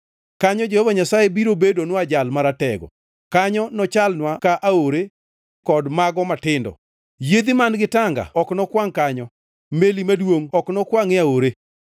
Kanyo Jehova Nyasaye biro bedonwa Jal Maratego. Kanyo nochalnwa ka aore kod mago matindo. Yiedhi man-gi tanga ok nokwangʼ kanyo, meli maduongʼ ok nokwangʼ e aore.